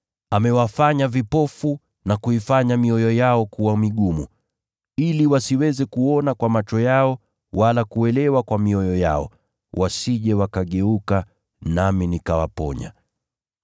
“Amewafanya vipofu, na kuifanya mioyo yao kuwa migumu, ili wasiweze kuona kwa macho yao, wala kuelewa kwa mioyo yao, wasije wakageuka nami nikawaponya.”